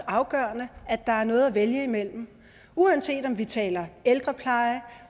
afgørende at der er noget at vælge imellem uanset om vi taler ældrepleje